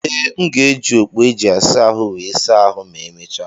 Ee, m ga-eji okpu e ji asa ahụ wee saa ahụ ma emechaa.